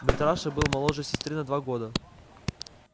митраша был моложе сестры на два года